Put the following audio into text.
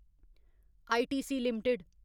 ITC limited